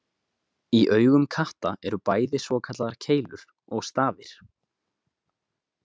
Í augum katta eru bæði svokallaðar keilur og stafir.